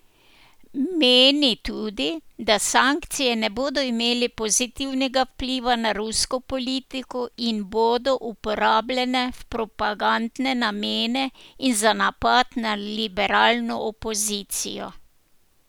Meni tudi, da sankcije ne bodo imele pozitivnega vpliva na rusko politiko in bodo uporabljene v propagandne namene in za napad na liberalno opozicijo.